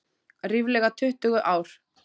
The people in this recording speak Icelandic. Ríflega tuttugu ár.